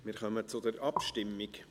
Wir kommen zur Abstimmung.